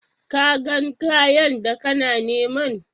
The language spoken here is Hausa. Ka gan kayan da kana niman?